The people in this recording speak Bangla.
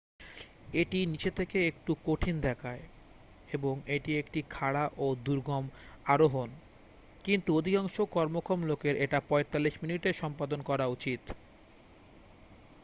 এটি নিচে থেকে একটু কঠিন দেখায় এবং এটি একটি খাড়া ও দুর্গম আরোহণ কিন্তু অধিকাংশ কর্মক্ষম লোকের এটা 45 মিনিটে সম্পাদন করা উচিত